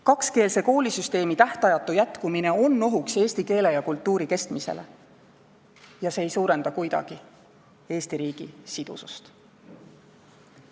Kakskeelse koolisüsteemi tähtajatu jätkumine on oht eesti keele ja kultuuri kestmisele ning see ei suurenda kuidagi Eesti riigi sidusust.